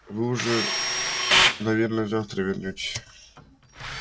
вы же уже наверное завтра вернётесь